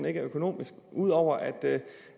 ikke er økonomisk ud over at